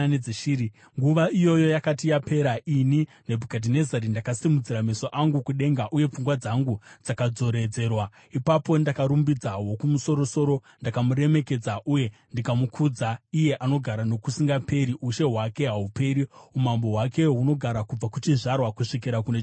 Nguva iyoyo yakati yapera, ini, Nebhukadhinezari, ndakasimudzira meso angu kudenga, uye pfungwa dzangu dzakadzoredzerwa. Ipapo ndakarumbidza Wokumusoro-soro; ndakamuremekedza uye ndikamukudza iye anogara nokusingaperi. Ushe hwake hahuperi; umambo hwake hunogara kubva kuchizvarwa kusvikira kune chimwe chizvarwa.